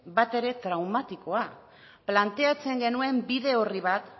batere traumatikoa planteatzen genuen bide orri bat